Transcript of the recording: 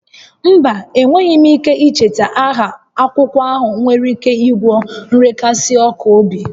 Mba, enweghị m ike icheta aha akwụkwọ ahụ nwere ike ịgwọ nrekasi ọkụ obi